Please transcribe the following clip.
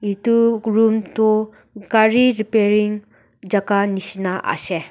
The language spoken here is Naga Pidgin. etu room tu gari repearing jagah jisna ase.